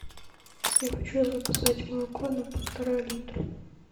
я хочу заказать молоко на полтора литра